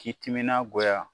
K'i timina goya